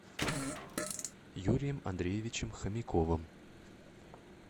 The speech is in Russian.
юрием андреевичем хомяковым